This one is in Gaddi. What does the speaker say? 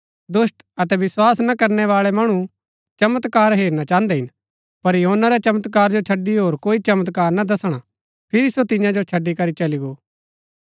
दुष्‍ट अतै विस्वास ना करनै बाळै मणु चमत्कार हेरना चाहन्दै हिन पर योना रै चमत्कार जो छड़ी होर कोई चमत्कार ना दसणा हा फिरी सो तियां जो छड़ी करी चली गो